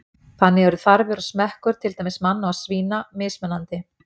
Þannig eru þarfir og smekkur, til dæmis manna og svína, mismunandi.